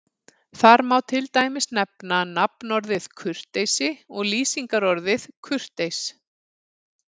Þar má til dæmis nefna nafnorðið kurteisi og lýsingarorðið kurteis.